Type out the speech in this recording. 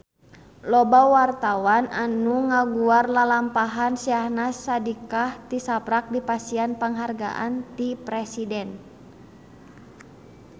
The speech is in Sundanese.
Loba wartawan anu ngaguar lalampahan Syahnaz Sadiqah tisaprak dipasihan panghargaan ti Presiden